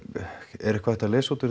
er eitthvað hægt að lesa út úr